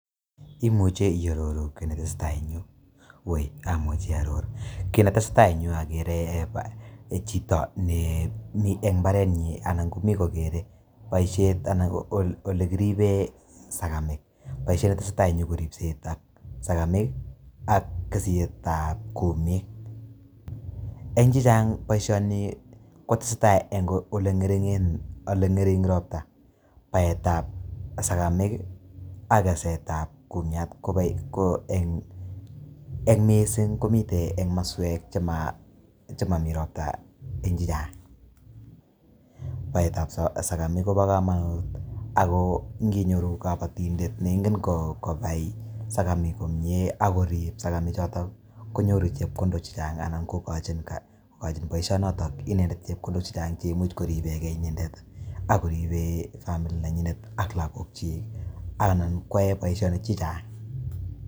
Imuchei iororuu kiit ne tesetai en Yuu, woi amuchei aaoror kit ne tesetai en Yuu agere eeh chitoo ne Mii en mbaret nyiin anan ko Mii kogere boisiet anan ko ole kiribeen segemiik, kit ne tesetai en Yuu ko ripset ab segemik ii ak keset ab kummik eng chechaang boisioni ko tesetai eng oret ilengering roptaa, baet ab sagamiik ii ak keset ab kumiat ko eng missing ii komiteen eng komosweek che mamii ropta eng che chaang ,baet up sagamiik Kobo kamanut ago nii nyoruu kabatindet ne ingen kobai sagamiik komyei agoriib sagamiik chotoon konyooru chepkondook che chaang anan igochiinn boisionoton inendet chepkondook che chaang cheimuuch koripern gei inendet ago ripeen famili ne nyineet ak lagook kyiik anan koyai boisionik che chaang.